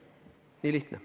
Nii lihtne.